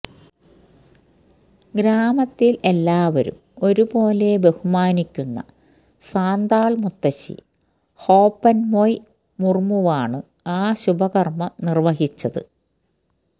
ഗ്രാമത്തിൽ എല്ലാവരും ഒരുപോലെ ബഹുമാനിക്കുന്ന സാന്താൾ മുത്തശ്ശി ഹോപൻമൊയ് മുർമുവാണ് ആ ശുഭകർമം നിർവഹിച്ചത്